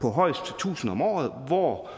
på højst tusind om året hvor